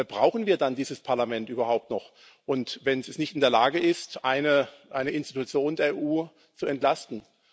Brauchen wir dann dieses Parlament überhaupt noch, wenn es nicht in der Lage ist, eine Institution der EU zu entlasten?